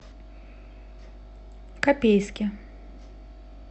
копейске